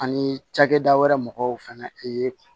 Ani cakɛda wɛrɛ mɔgɔw fɛnɛ ye